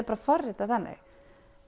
bara forritað þannig